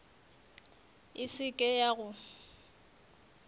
e se ke ya go